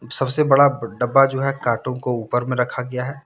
सबसे बड़ा डब्बा जो है कार्टून का ऊपर में रखा गया है।